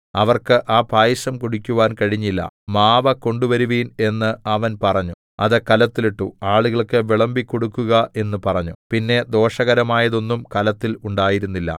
അവർക്ക് ആ പായസം കുടിക്കുവാൻ കഴിഞ്ഞില്ല മാവ് കൊണ്ടുവരുവിൻ എന്ന് അവൻ പറഞ്ഞു അത് കലത്തിൽ ഇട്ടു ആളുകൾക്ക് വിളമ്പികൊടുക്കുക എന്ന് പറഞ്ഞു പിന്നെ ദോഷകരമായതൊന്നും കലത്തിൽ ഉണ്ടായിരുന്നില്ല